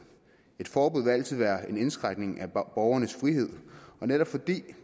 et forbud vil altid være en indskrænkning af borgernes frihed og netop fordi